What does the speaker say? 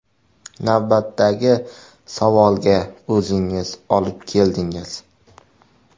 Navbatdagi savolga o‘zingiz olib keldingiz.